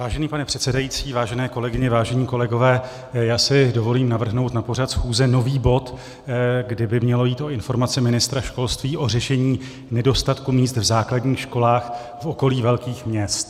Vážený pane předsedající, vážené kolegyně, vážení kolegové, já si dovolím navrhnout na pořád schůze nový bod, kdy by mělo jít o informaci ministra školství o řešení nedostatku míst v základních školách v okolí velkých měst.